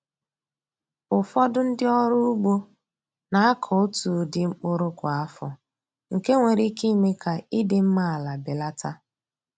Ụfọdụ ndị ọrụ ugbo na-akọ otu ụdị mkpụrụ kwa afọ, nke nwere ike ime ka ịdị mma ala belata.